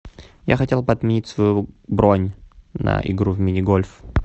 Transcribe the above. я хотел бы отменить свою бронь на игру в мини гольф